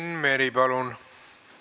Enn Meri, palun!